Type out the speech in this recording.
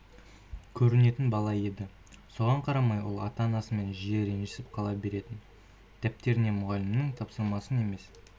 көрінетін бала еді соған қарамай ол ата-анасымен жиі ренжісіп қала беретін дәптеріне мұғалімнің тапсырмасын емес